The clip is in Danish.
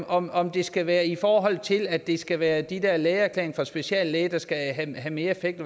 om om det skal være i forhold til at det skal være de der lægeerklæringer fra speciallæger der skal have mere effekt